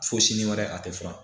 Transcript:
Fo sini wɛrɛ a tɛ fura